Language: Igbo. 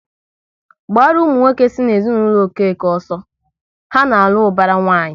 Gbaru ụmụ nwoke si n'ezinụlọ Okeke ọsọ, ha na-alụ ubara nwanyi!